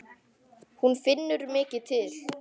Hún finnur mikið til.